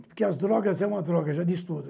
Porque as drogas é uma droga, já disse tudo.